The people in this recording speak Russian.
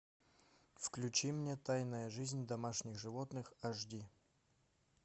включи мне тайная жизнь домашних животных аш ди